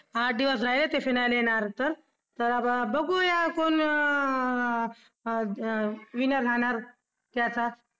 आठ दिवस झाले ते finale येणार होतं तर आपण बघूया कोण अं अं wineer राहणार त्याचा